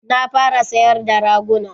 Na fara sayar da raguna